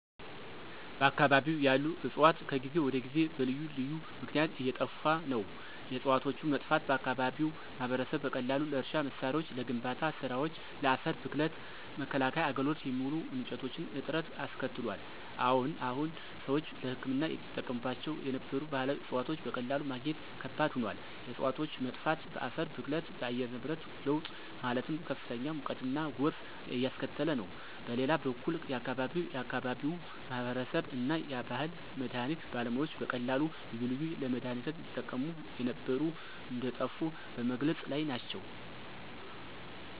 በአከባቢው ያሉ ዕፅዋት ከጊዜ ወደ ጊዜ በልዩ ልዩ ምክነያት እየጠፋ ነው። የዕፅዋቶቹ መጥፋት በአከባቢው ማህበረሰብ በቀላሉ ለእርሻ መሳሪያዎች፣ ለግንባታ ስራወች፣ ለአፈር ብክለት መከላከያ አገልግሎት የሚውሉ እንጨቶች እጥረት አስከትሏል። አዎን ሰዎች ለህክምና ይጠቀሙባቸው የነበሩ ባህላዊ ዕፅዋቶች በቀላሉ ማግኘት ከባድ ሆኗል። የእፅዋቶች መጥፋት በአፈር ብክለት፣ በአየር ንብረት ለውጥ ማለትም ከፍተኛ ሙቀትና ጎርፍ እያስከተለ ነው። በሌላ በኩል የአከባቢው የአከባቢው ማህበረሰብ እና የባህል መድሀኒት ባለሙያዎች በቀላሉ ልዩ ልዩ ለመድሃኒነት ይጠቀሙ የነበሩ እንደጠፉ በመግለፅ ላይ ናቸው።